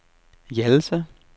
Hjallelse